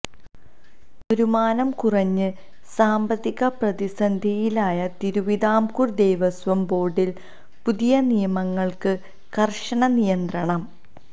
വരുമാനം കുറഞ്ഞ് സാമ്പത്തിക പ്രതിസന്ധിയിലായ തിരുവിതാംകൂർ ദേവസ്വം ബോർഡിൽ പുതിയ നിയമനങ്ങൾക്ക് കർശന നിയന്ത്രണം